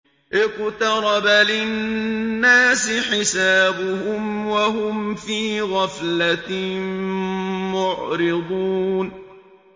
اقْتَرَبَ لِلنَّاسِ حِسَابُهُمْ وَهُمْ فِي غَفْلَةٍ مُّعْرِضُونَ